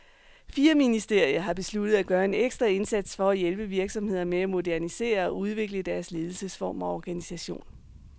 Fire ministerier har besluttet at gøre en ekstra indsats for at hjælpe virksomheder med at modernisere og udvikle deres ledelsesform og organisation.